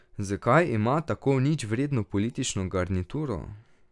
Zakaj ima tako ničvredno politično garnituro?